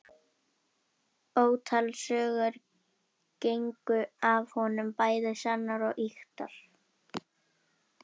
Ótal sögur gengu af honum, bæði sannar og ýktar.